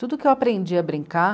Tudo que eu aprendi a brincar,